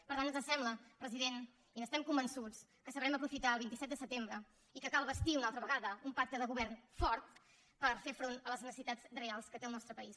per tant ens sembla president i n’estem convençuts que sabrem aprofitar el vint set de setembre i que cal bastir una altra vegada un pacte de govern fort per fer front a les necessitats reals que té el nostre país